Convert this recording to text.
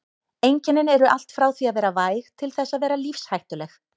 Einkennin eru allt frá því að vera væg til þess að vera lífshættuleg.